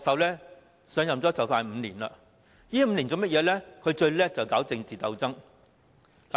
他上任接近5年，在這5年來，他最擅長搞政治鬥爭。